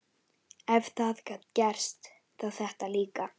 Ef það gat gerst, þá þetta líka.